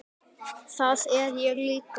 Það er ég líka